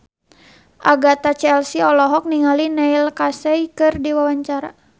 Agatha Chelsea olohok ningali Neil Casey keur diwawancara